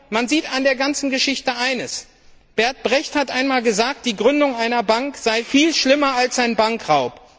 Man sieht in der ganzen Geschichte eines Bertolt Brecht hat einmal gesagt Die Gründung einer Bank sei viel schlimmer als ein Bankraub.